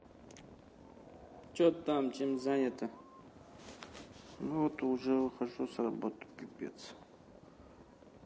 что там чем занята ну вот уже выхожу с работы пипец